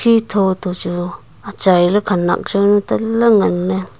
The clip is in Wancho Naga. chi tho toh chu achai ley khanak jawnu tale ngan ley.